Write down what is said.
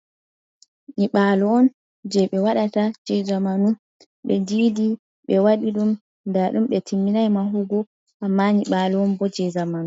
Nyiɓalo on jei ɓe waɗata jei zamanu, ɓe didi ɓe waɗi ɗum, nda ɗum ɓe timminai mahugo amma nyiɓalo on bo jei zamanu.